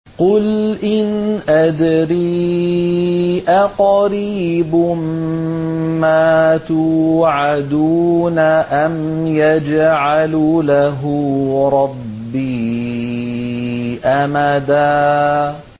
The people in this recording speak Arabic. قُلْ إِنْ أَدْرِي أَقَرِيبٌ مَّا تُوعَدُونَ أَمْ يَجْعَلُ لَهُ رَبِّي أَمَدًا